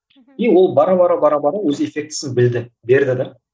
и ол бара бара бара бар өз эффектісін білді берді де